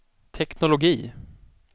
teknologi